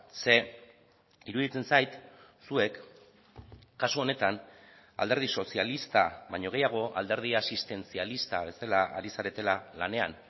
ze iruditzen zait zuek kasu honetan alderdi sozialista baino gehiago alderdi asistentzialista bezala ari zaretela lanean